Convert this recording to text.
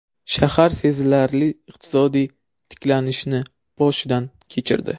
Shahar sezilarli iqtisodiy tiklanishni boshdan kechirdi.